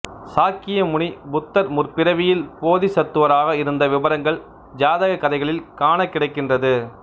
சாக்கியமுனி புத்தர் முற்பிறவியில் போதிசத்துவராக இருந்த விபரங்கள் ஜாதகக் கதைகளில் காணக் கிடைக்கின்றது